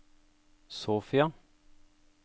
Sofia